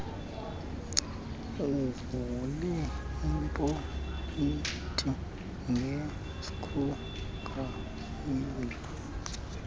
uvule iipoyinti ngeskrudrayiva